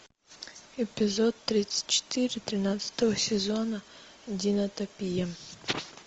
эпизод тридцать четыре тринадцатого сезона динотопия